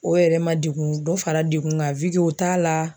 O yɛrɛ ma degun dɔ fara dekun kan t'a la.